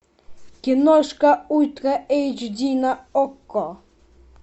киношка ультра эйч ди на окко